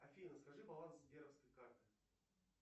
афина скажи баланс сберовской карты